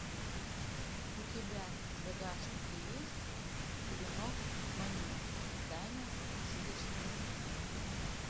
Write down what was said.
у тебя в загашнике есть клинок маню тайна сисечного свитка